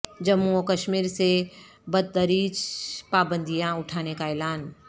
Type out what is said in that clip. جموں و کشمیر سے بتدریج پابندیاں اٹھانے کا اعلان